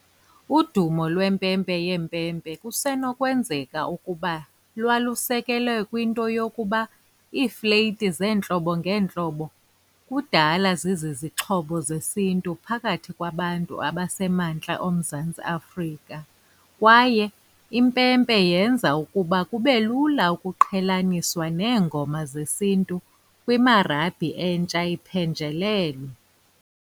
Udumo lwempempe yompempe kusenokwenzeka ukuba lwalusekelwe kwinto yokuba iifleyiti zeentlobo ngeentlobo kudala zizixhobo zesintu phakathi kwabantu abasemantla oMzantsi Afrika kwaye impempe yenza ukuba kube lula ukuqhelaniswa neengoma zesintu kwimarabhi entsha ephenjelelwe.